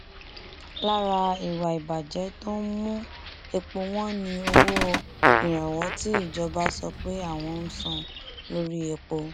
lára ìwà ìbàjẹ tó ń mú epo wọn ni owó ìrànwọ tí ìjọba sọ pé àwọn ń san lórí epo